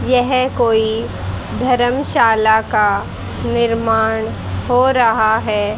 यह कोई धर्मशाला का निर्माण हो रहा है।